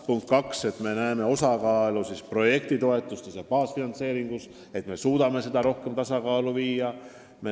Punkt 2: projektitoetused ja baasfinantseeringud tuleb rohkem tasakaalu viia.